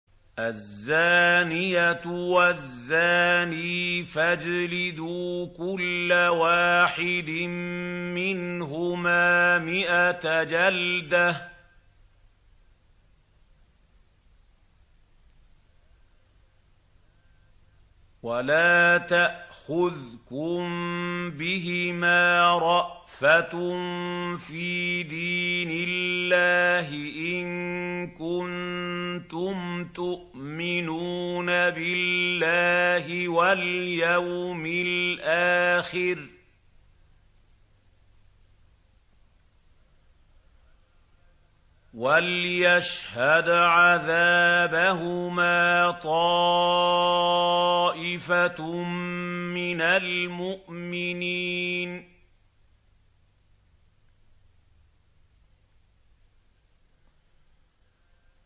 الزَّانِيَةُ وَالزَّانِي فَاجْلِدُوا كُلَّ وَاحِدٍ مِّنْهُمَا مِائَةَ جَلْدَةٍ ۖ وَلَا تَأْخُذْكُم بِهِمَا رَأْفَةٌ فِي دِينِ اللَّهِ إِن كُنتُمْ تُؤْمِنُونَ بِاللَّهِ وَالْيَوْمِ الْآخِرِ ۖ وَلْيَشْهَدْ عَذَابَهُمَا طَائِفَةٌ مِّنَ الْمُؤْمِنِينَ